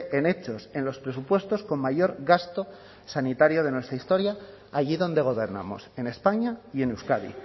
en hechos en los presupuestos con mayor gasto sanitario de nuestra historia allí donde gobernamos en españa y en euskadi